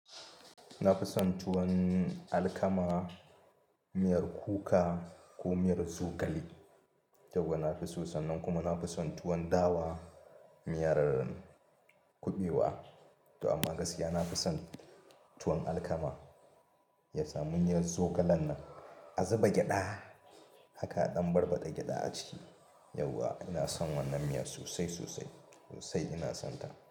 Na fi son tuwon alkama, miyar kuka ko miyar zogale. Tuwa na fi so, sannan kuma na fi son tuwon dawa miyar kuɓewa. To amma gaskiya na fi son tuwon alkama. Ya samu miyan zogalen nan, a zuba gyaɗa haka a ɗan barbaɗa gyaɗa aciki. Yauwa ina son wannan miya sosai sosai sosai ina son ta.